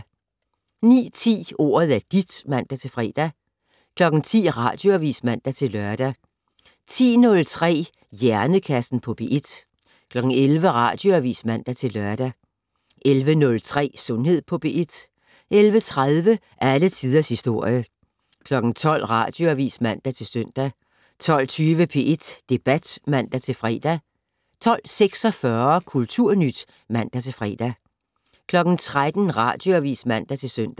09:10: Ordet er dit (man-fre) 10:00: Radioavis (man-lør) 10:03: Hjernekassen på P1 11:00: Radioavis (man-lør) 11:03: Sundhed på P1 11:30: Alle tiders historie 12:00: Radioavis (man-søn) 12:20: P1 Debat (man-fre) 12:46: Kulturnyt (man-fre) 13:00: Radioavis (man-søn)